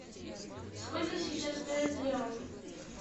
сколько сейчас стоит реал